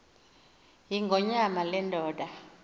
yingonyama le ndoda